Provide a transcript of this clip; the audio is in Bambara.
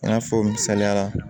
I n'a fɔ misaliya la